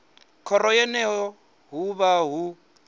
khoro yeneyo hu vha hu